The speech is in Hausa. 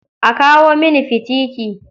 A kawo mini fitiki.